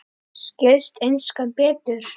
Skilst enskan betur?